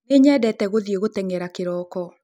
Nĩnyendete gũthiĩ gũtengera kĩroko